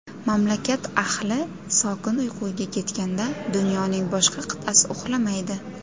Mamlakat ahli sokin uyquga ketganda, dunyoning boshqa qit’asi uxlamaydi.